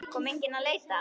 Kom enginn að leita?